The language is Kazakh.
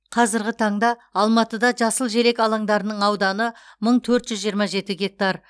қазіргі таңда алматыда жасыл желек алаңдарының ауданы мың төрт жүз жиырма жеті гектар